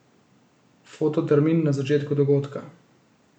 Fototermin na začetku dogodka.